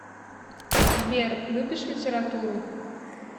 сбер любишь литературу